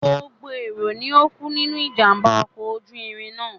Gbogbo èrò ni ó kú nínú ìjàm̀bá ọkọ̀ ojú irin náà.